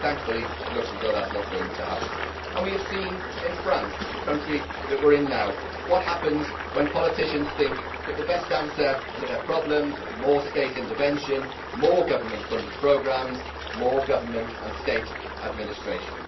Thankfully it looks as though that is not going to happen, and we have seen in France the country we are in now what happens when politicians think that the best answer to their problems is more state intervention, more government funded programmes and more government and state administration.